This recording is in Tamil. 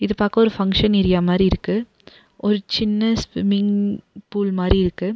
இது பாக்க ஒரு ஃபங்ஷன் ஏரியா மாரி இருக்கு ஒரு சின்ன ஸ்விம்மிங் ஃபூல் மாரி இருக்கு.